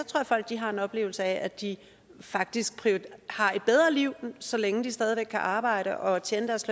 at folk har en oplevelse af at de faktisk har et bedre liv så længe de stadig væk kan arbejde og tjene deres